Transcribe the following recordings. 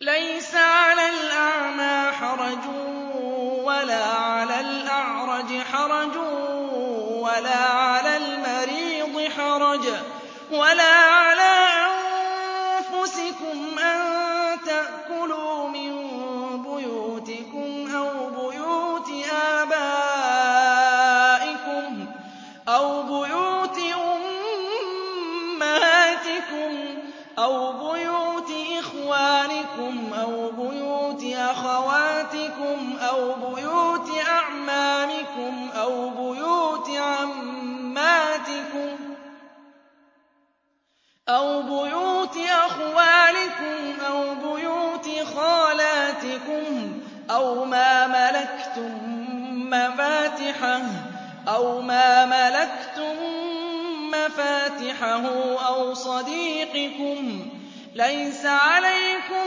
لَّيْسَ عَلَى الْأَعْمَىٰ حَرَجٌ وَلَا عَلَى الْأَعْرَجِ حَرَجٌ وَلَا عَلَى الْمَرِيضِ حَرَجٌ وَلَا عَلَىٰ أَنفُسِكُمْ أَن تَأْكُلُوا مِن بُيُوتِكُمْ أَوْ بُيُوتِ آبَائِكُمْ أَوْ بُيُوتِ أُمَّهَاتِكُمْ أَوْ بُيُوتِ إِخْوَانِكُمْ أَوْ بُيُوتِ أَخَوَاتِكُمْ أَوْ بُيُوتِ أَعْمَامِكُمْ أَوْ بُيُوتِ عَمَّاتِكُمْ أَوْ بُيُوتِ أَخْوَالِكُمْ أَوْ بُيُوتِ خَالَاتِكُمْ أَوْ مَا مَلَكْتُم مَّفَاتِحَهُ أَوْ صَدِيقِكُمْ ۚ لَيْسَ عَلَيْكُمْ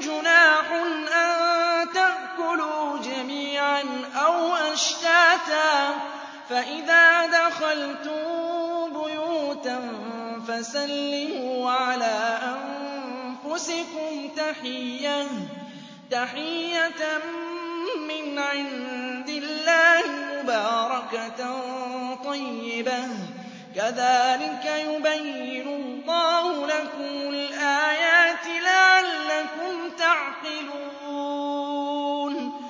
جُنَاحٌ أَن تَأْكُلُوا جَمِيعًا أَوْ أَشْتَاتًا ۚ فَإِذَا دَخَلْتُم بُيُوتًا فَسَلِّمُوا عَلَىٰ أَنفُسِكُمْ تَحِيَّةً مِّنْ عِندِ اللَّهِ مُبَارَكَةً طَيِّبَةً ۚ كَذَٰلِكَ يُبَيِّنُ اللَّهُ لَكُمُ الْآيَاتِ لَعَلَّكُمْ تَعْقِلُونَ